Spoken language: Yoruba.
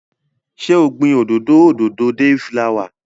Ṣé o gbin òdòdó òdòdó deifulawa?